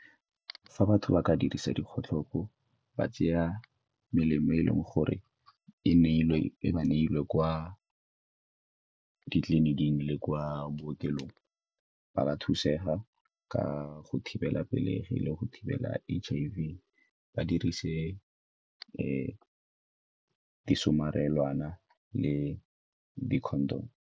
Fa batho ba ka dirisa dikgotlhopo, ba tseya melemo e leng gore e ba neilwe kwa ditleliniking le kwa bookelong ba ka thusega ka go thibela pelegi le go thibela H_I_V, ba dirise di le di-condom.